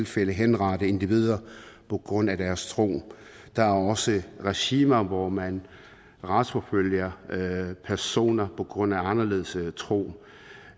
fald henrette individer på grund af deres tro der er også regimer hvor man retsforfølger personer på grund af anderledes tro